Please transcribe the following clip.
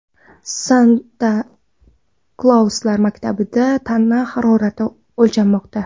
Santa-Klauslar maktabida tana harorati o‘lchanmoqda.